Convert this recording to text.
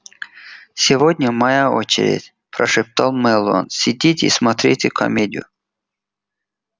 сегодня моя очередь прошептал мэллоу сидите и смотрите комедию